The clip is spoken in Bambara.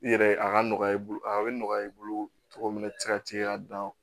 I yɛrɛ a ka nɔgɔya i bolo a bɛ nɔgɔya i bolo cogo min na i tɛ se ka t'i ka dan